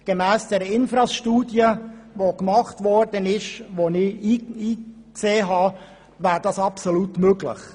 Gemäss der erstellten INFRAS-Studie, in welche ich Einblick genommen habe, wäre dies absolut möglich.